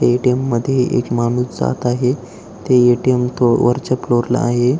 ATM. मध्ये एक माणूस जात आहे ते ए.टी.एम. वरच्या फ्लोरला आहे.